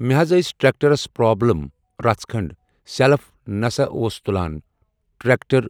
مےٚ حض ٲسۍ ٹریٚکٹرس پرابلم رژھ کھنٛڈ سٮ۪لف نہ سا اوس تُلان ٹریٚکٹر